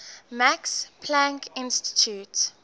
max planck institute